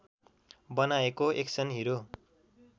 बनाएको एक्सन हिरोको